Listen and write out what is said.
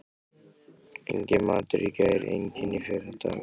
Enginn matur í gær, enginn í fyrradag.